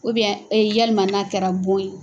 yalima n'a kɛra bon ye.